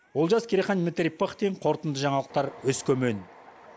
олжас керейхан дмитрий пыхтин қорытынды жаңалықтар өскемен